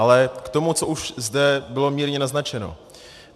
Ale k tomu, co už zde bylo mírně naznačeno.